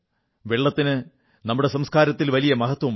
വെള്ളത്തിന് നമ്മുടെ സംസ്കാരത്തിൽ വലിയ മഹത്വമുണ്ട്